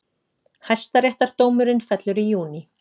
Hæstaréttardómurinn fellur í júní